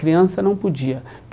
Criança não podia.